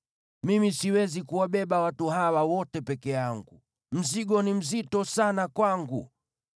Mimi siwezi kuwabeba watu hawa wote peke yangu, mzigo ni mzito sana kwangu.